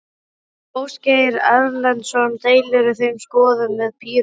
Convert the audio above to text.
Ásgeir Erlendsson: Deilirðu þeirri skoðun með Pírötum?